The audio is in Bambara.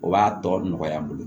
O b'a tɔ nɔgɔya n bolo